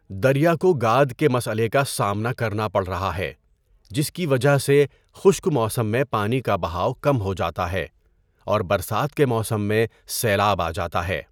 دریا کو گاد کے مسئلے کا سامنا کرنا پڑ رہا ہے جس کی وجہ سے خشک موسم میں پانی کا بہاؤ کم ہو جاتا ہے اور برسات کے موسم میں سیلاب آ جاتا ہے۔